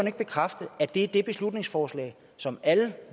ikke bekræfte at det er det beslutningsforslag som alle